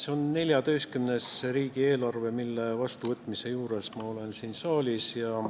See on 14. riigieelarve, mille vastuvõtmise juures ma siin saalis olen.